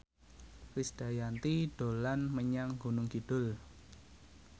Krisdayanti dolan menyang Gunung Kidul